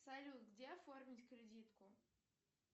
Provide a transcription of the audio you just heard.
салют где оформить кредитку